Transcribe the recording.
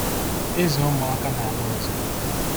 Ịzụ Ụmụaka n’ala ọzọ